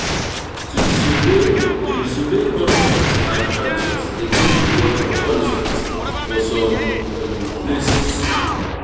to disobey to disobey customs and traditions de get reward or punishment for some places